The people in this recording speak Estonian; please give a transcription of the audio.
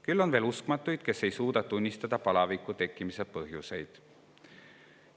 Küll aga on veel uskmatuid, kes ei suuda tunnistada põhjusi, miks see palavik tekkis.